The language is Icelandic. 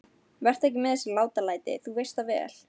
Vertu ekki með þessi látalæti. þú veist það vel!